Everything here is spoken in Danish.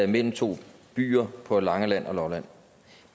mellem to byer på langeland og lolland